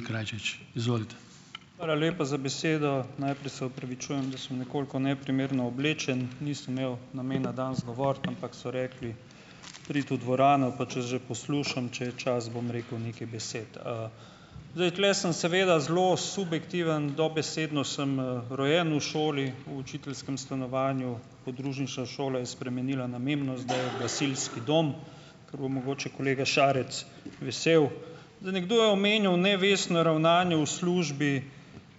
Hvala lepa za besedo. Najprej se opravičujem, da sem nekoliko neprimerno oblečen. Nisem imel namena danes govoriti, ampak so rekli: "Pridi v dvorano," pa če že poslušam, če je čas, bom rekel nekaj besed, Zdaj tule sem seveda zelo subjektiven, dobesedno sem, rojen v šoli, v učiteljskem stanovanju, podružnična šola je spremenila namembnost, da je gasilski dom, kar bo mogoče kolega Šarec vesel. Zdaj nekdo je omenjal nevestno ravnanje v službi.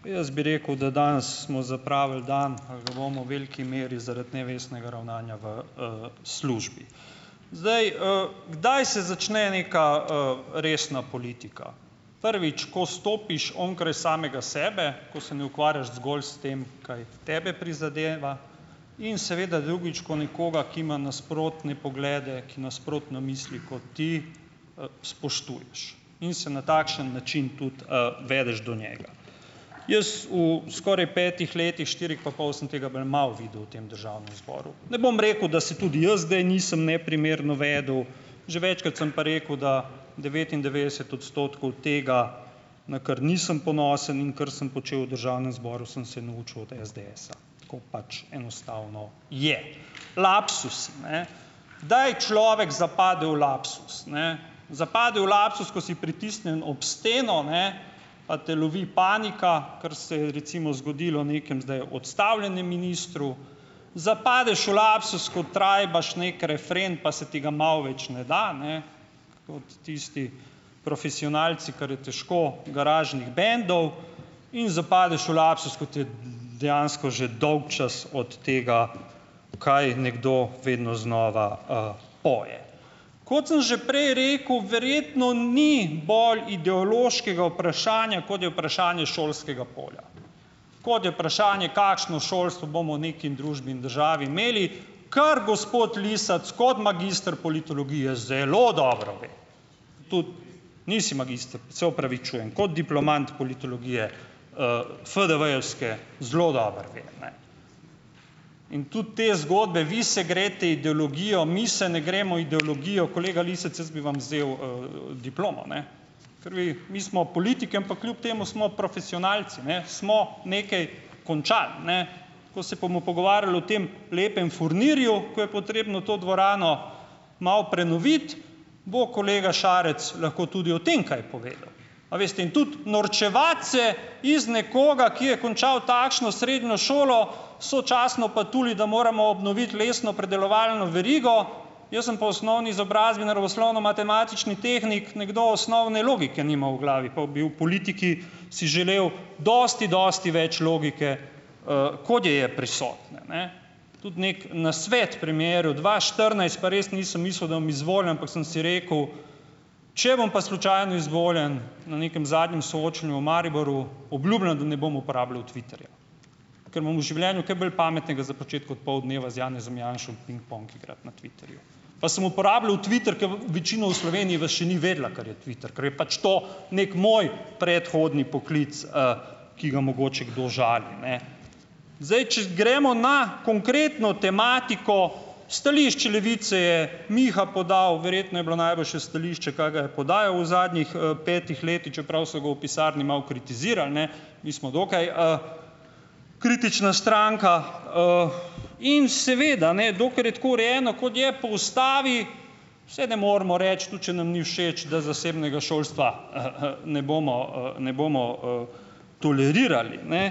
Jaz bi rekel, da danes smo zapravili dan ali ga bomo v veliki meri zaradi nevestnega ravnanja v, službi. Zdaj, ... Kdaj se začne neka, resna politika? Prvič, ko stopiš onkraj samega sebe, ko se ne ukvarjaš zgolj s tem, kaj tebe prizadeva, in seveda drugič, ko nekoga, ki ima nasprotne poglede, ki nasprotno misli kot ti, spoštuješ, in se na takšen način tudi, vedeš do njega. Jaz v skoraj petih letih, štirih pa pol, sem tega bolj malo videl v tem državnem zboru. Ne bom rekel, da se tudi jaz kdaj nisem neprimerno vedel. Že večkrat sem pa rekel, da devetindevetdeset odstotkov tega, na kar nisem ponosen in kar sem počel v državnem zboru, sem se naučil od SDS-a, tako pač enostavno je. Lapsus, ne, kdaj človek zapade v lapsus, ne? Zapade v lapsus, ko si pritisnjen ob steno, ne, pa te lovi panika, kar se je, recimo, zgodilo nekemu zdaj odstavljenemu ministru. Zapadeš v lapsus, ko trajbaš neki refren, pa se ti ga malo več ne da, ne, kot tisti profesionalci, kar je težko, garažnih bendov. In zapadeš v lapsus, ko ti je dejansko že dolgčas od tega, kaj nekdo vedno znova, poje. Kot sem že prej rekel, verjetno ni bolj ideološkega vprašanja, kot je vprašanje šolskega polja, kot je vprašanje, kakšno šolstvo bomo v neki družbi in državi imeli, kar gospod Lisec kot magister politologije zelo dobro ve. Tudi. Nisi magister? Se opravičujem. Kot diplomant politologije FDV-jevske zelo dobro ve. In tudi te zgodbe, vi se greste ideologijo, mi se ne gremo ideologijo, kolega Lisec, jaz bi vam vzel, diplomo, ne. Ker vi mi smo politiki, ampak kljub temu smo profesionalci ne, smo nekaj končali, ne. Ko se bomo pogovarjali o tem lepem furnirju, ko je potrebno to dvorano malo prenoviti, bo kolega Šarec lahko tudi o tem kaj povedal. A veste, in tudi norčevati se iz nekoga, ki je končal takšno srednjo šolo sočasno pa tole, da moramo obnoviti lesnopredelovalno verigo, jaz sem po osnovni izobrazbi naravoslovno-matematični tehnik, nekdo osnovne logike nima v glavi, pa bi v politiki si želel dosti, dosti več logike, kot je je prisotne, ne. Tudi neki nasvet premierju, dva štirinajst pa res nisem mislil, da bom izvoljen, ampak sem si rekel: "Če bom pa slučajno izvoljen, na nekem zadnjem soočenju v Mariboru, obljubljam, da ne bom uporabljal Twitterja, ker imam v življenju kaj bolj pametnega za početi kot pol dneva z Janezom Janšo pingpong igrati na Twitterju." Pa sem uporabljal Twitter, ke večina v Sloveniji vas še ni vedela, kar je Twitter, ker je pač to neki moj predhodni poklic, ki ga mogoče kdo žali, ne. Zdaj, če gremo na konkretno tematiko, stališče Levice je Miha podal. Verjetno je bilo najboljše stališče, kar ga je podajal v zadnjih, petih letih, čeprav so ga v pisarni malo kritizirali, ne. Mi smo dokaj, kritična stranka, In seveda ne, dokler je tako urejeno, kot je, po ustavi, saj ne moremo reči, tudi če nam ni všeč, da zasebnega šolstva, ne bomo, ne bomo, tolerirali, ne.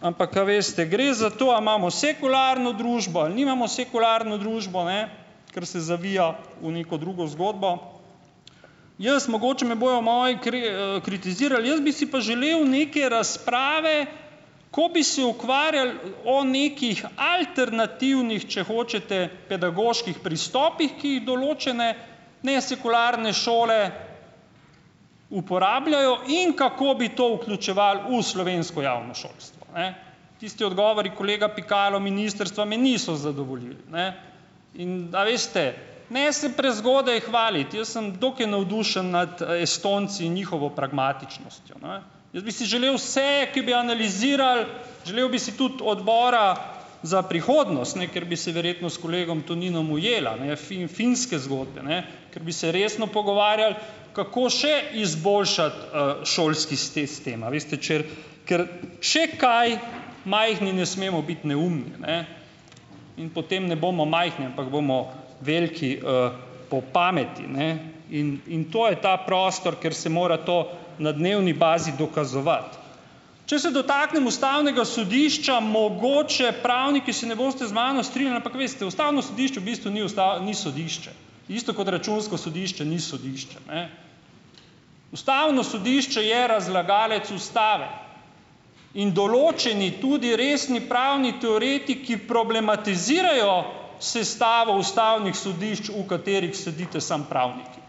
Ampak a veste, gre za to, a imamo sekularno družbo ali nimamo sekularno družbo, ne, ker se zavija v neko drugo zgodbo. Jaz, mogoče me bojo moji kritizirali, jaz bi si pa želel neke razprave, ko bi se ukvarjali o nekih alternativnih, če hočete, pedagoških pristopih, ki jih določene nesekularne šole uporabljajo, in kako bi to vključevali v slovensko javno šolstvo, ne. Tisti odgovori, kolega Pikalo, ministrstva me niso zadovoljili, ne. In, da veste, ne se prezgodaj hvaliti. Jaz sem dokaj navdušen nad Estonci in njihovo pragmatičnostjo, ne. Jaz bi si želel vse, ki bi analizirali, želel bi si tudi odbora za prihodnost, ne, kjer bi se verjetno s kolegom Toninom ujela, ne, finske zgodbe, ne, ker bi se resno pogovarjali, kako še izboljšati, šolski sistem, a veste če, ker če kaj, majhni ne smemo biti neumni, ne, in potem ne bomo majhni, ampak bomo veliki, po pameti, ne, in in to je ta prostor, kjer se mora to na dnevni bazi dokazovati. Če se dotaknem ustavnega sodišča, mogoče, pravniki se ne boste z mano strinjali, ampak veste, ustavno sodišče v bistvu ni ni sodišče. Isto kot računsko sodišče ni sodišče, ne. Ustavno sodišče je razlagalec ustave in določeni, tudi resni pravni teoretiki, problematizirajo sestavo ustavnih sodišč, v katerih sedite samo pravniki.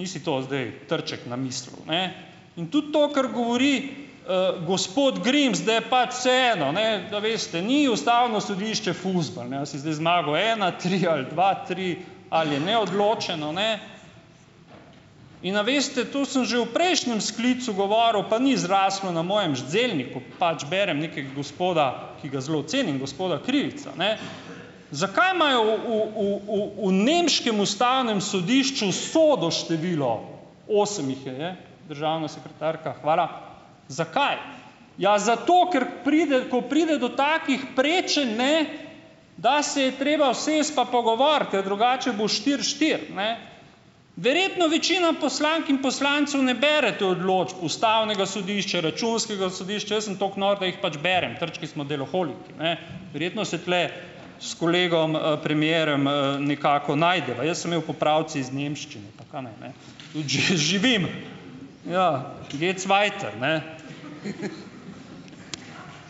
Ni si to zdaj Trček namislil, ne. In tudi to, kar govori, gospod Grims, da je pač vseeno, ne, da veste, ni ustavno sodišče fuzbal, ne, ali si zdaj zmagal ena tri ali dva tri ali je neodločeno, ne, in a veste, to sem že v prejšnjem sklicu govoril, pa ni zraslo na mojem zelniku, pač berem nekega gospoda, ki ga zelo cenim, gospoda Krivica, ne. Zakaj imajo v, v, v, v, v nemškem ustavnem sodišču sodo število, osem jih je, državna sekretarka, hvala, zakaj? Ja, zato, ker pride ko pride do takih prečenj, ne, da se je treba usesti pa pogovoriti, ker drugače bo štiri štiri, ne. Verjetno večina poslank in poslancev ne berete odločb ustavnega sodišča, računskega sodišča. Jaz sem toliko nor, da jih pač berem, Trčki smo deloholiki. A ne verjetno se tule s kolegom, premierom, nekako najdeva. Jaz sem imel popravec iz nemščine, pa kaj ne, ne? Živim, ja geht's weiter, ne.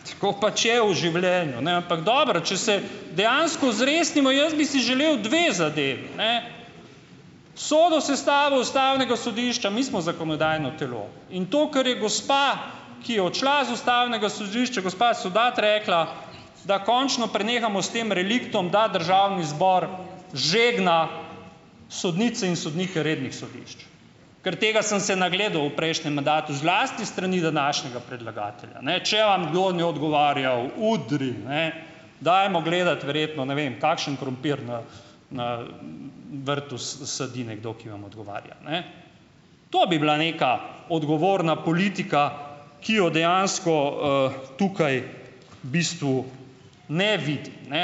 Tako pač je v življenju, ampak dobro, če se dejansko zresnimo - jaz bi si želel dve zadevi: sodo sestavo ustavnega sodišča. Mi smo zakonodajno telo, in to kar je gospa, ki je odšla z ustavnega sodišča, gospa Sovdat rekla, da končno prenehamo s tem reliktom, da državni zbor žegna sodnice in sodnike rednih sodišč. Ker tega sem se nagledal v prejšnjem mandatu, zlasti s strani današnjega predlagatelja, ne. Če vam kdo ne odgovarjal, udri, ne, dajmo gledati verjetno, ne vem, kakšen krompir na na vrtu sadi nekdo, ki vam odgovarja, ne. To bi bila neka odgovorna politika, ki jo dejansko tukaj v bistvu ne vidim, ne,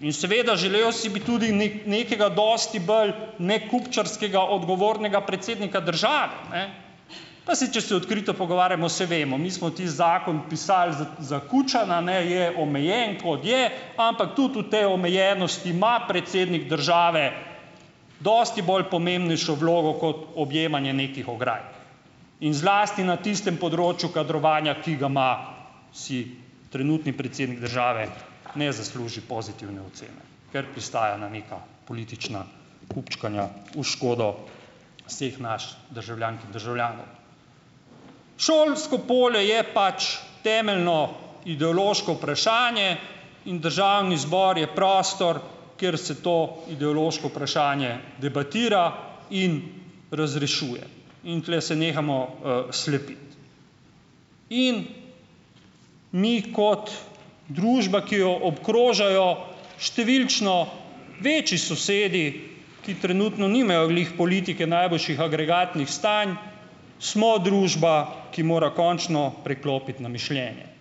in seveda, želel si bi tudi nekega dosti bolj nekupčkarskega, odgovornega predsednika države, ne. Pa saj, če se odkrito pogovarjamo, saj vemo, mi smo tisti zakon pisal za, za Kučana, ne, je omejen, kot je, ampak tudi v tej omejenosti ima predsednik države dosti bolj pomembnejšo vlogo kot objemanje nekih ograj in zlasti na tistem področju kadrovanja, ki ga ima, si trenutni predsednik države ne zasluži pozitivne ocene, ker pristaja na neka politična kupčkanja, v škodo vseh nas državljank in državljanov. Šolsko polje je pač temeljno, ideološko vprašanje in državni zbor je prostor, kjer se to ideološko vprašanje debatira in razrešuje, in tule se nehamo, slepiti. In mi kot družba, ki jo obkrožajo številčno večji sosedi, ki trenutno nimajo glih politike najboljših agregatnih stanj, smo družba, ki mora končno preklopiti na mišljenje.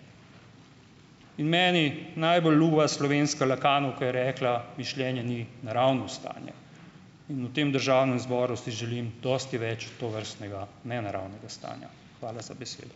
In meni najbolj ljuba slovenska lacanovka je rekla: "Mišljenje ni naravno stanje." In v tem državnem zboru si želim dosti več tovrstnega nenaravnega stanja. Hvala za besedo.